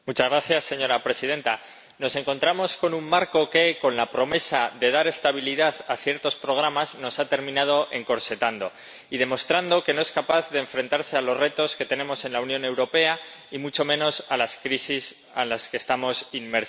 Señora Presidenta, nos encontramos con un marco que, con la promesa de dar estabilidad a ciertos programas, nos ha terminado encorsetando y demostrando que no es capaz de enfrentarse a los retos que tenemos en la Unión Europea y mucho menos a las crisis en las que estamos inmersos.